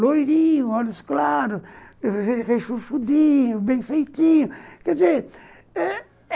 Loirinho, olhos claros, rechuchudinho, bem feitinho, quer dizer eh